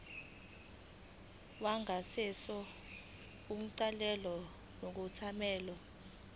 wangasese ungenelwe ngokungemthetho